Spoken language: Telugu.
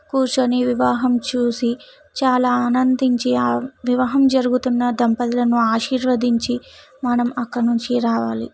కూర్చొని వివాహం చూసి చాలా ఆనందించి ఆ వివాహం జరుగుతున్నా దంపతులను ఆశీర్వదించి మనం అక్కడ నుంచి రావాలి.